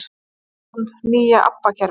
Hvað finnst þér um nýja ABBA kerfið?